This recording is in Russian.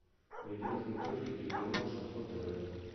найди на смотрешке телеканал шансон тв